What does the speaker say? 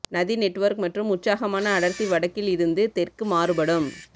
நதி நெட்வொர்க் மற்றும் உற்சாகமான அடர்த்தி வடக்கில் இருந்து தெற்கு மாறுபடும்